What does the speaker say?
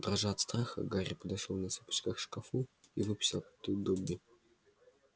дрожа от страха гарри подошёл на цыпочках к шкафу и выпустил оттуда добби